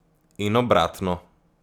In obratno.